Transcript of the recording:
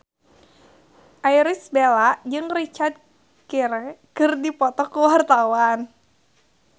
Irish Bella jeung Richard Gere keur dipoto ku wartawan